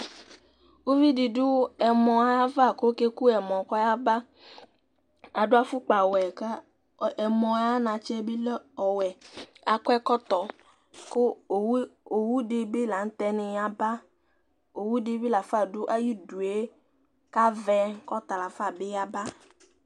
Uvi di du ɛmɔ yava, kɔ ɔkeku ɛmɔ kɔyaba, adu afukpa ɔwuɛ , ɛmɔɛ ayanatsɛbi lă ɔwɛ, akɔ ɛkɔtɔ ku owu di bi laŋtɛ ni yaba, ɔwudi bi lafa du ayidué ka ʋɛ kɔ talafa bi yaba